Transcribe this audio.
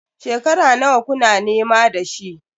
Shekara nawa kuna nema da shi?